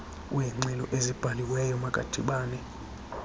weengxelo ezibhaliweyo makadibane